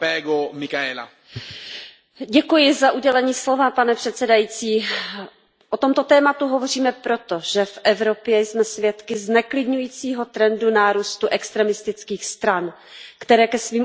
Pane předsedající, o tomto tématu hovoříme proto, že v Evropě jsme svědky zneklidňujícího trendu nárůstu extremistických stran, které ke svým účelům neváhají používat i nacistické symboly.